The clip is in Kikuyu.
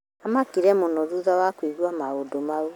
Amakire mũno thutha wa kũigua maũndũmau